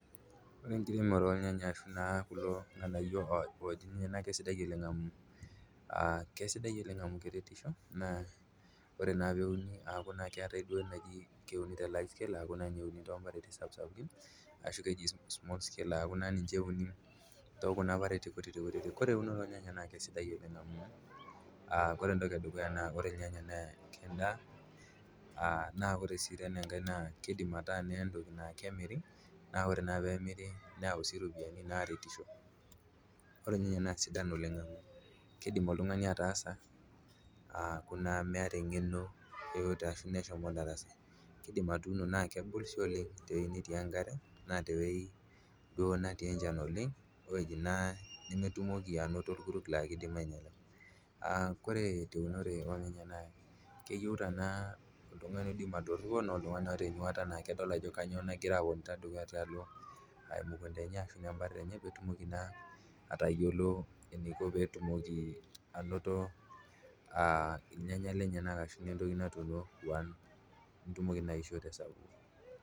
Ore enkiremore olnyanya ashu na kulo ilng'anaiyo oji ilyanya naa kesidai oleng amuu amu keretisho naa ore naa peuni aaku naa duo keatae duo naji keuni te [cd] life kila aaaku naa ninye euni too imparitin sapuksapuki, ashu keji small scale aku naa ninche euni too kuna mparitin kutitikuti, kore kulo inyanya naa kesidain oleng amuu, kore entoki edukuya naa koe ilnyanya naa ke endaa, na kore sii enkae naa keidim ataa naa entoki naa kemiri, naaku ore naa peemiri neyau sii iropiyiani naaretisho, ore elnyanya naa sidan oleng amuu keidim oltungani ataasa aaku naa emeeta eng'eno yoyote ashu anaa eshomo ildarasa, keidim atuuno naa kegol sii oleng te yeunoyo enkare, anaa te weji duo natii enchan oleng, oweji naa nimitumoki anoto lkuruk naa kiindim ainyala, koree teunoto oo ilyanya naa oltungani oidim atoripo ana oltungani oota enyuata naa kedol ajo nyoo nagira aloto dukuya tialo emukunta enye ashu naa empari enye peetumoki naa ataiyiolo neiko peetumoki anoto ilnyanya lenye ashu naa entoki natuuno, netumoki naa aisho te sapuk.